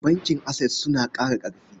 Bankin Access suna ƙara ƙarfi.